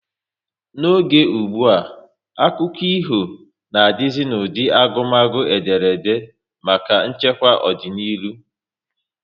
N'oge ụgbụa, akụkọ ifo na dizi n'ụdị agumagu ederede maka nchekwa ọdịnihu